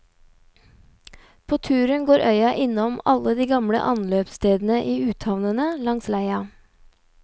På turen går øya innom alle de gamle ansløpsstedene i uthavnene langs leia.